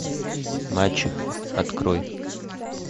мачеха открой